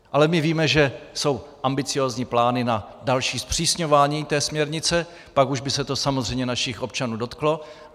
Ale my víme, že jsou ambiciózní plány na další zpřísňování té směrnice, pak už by se to samozřejmě našich občanů dotklo.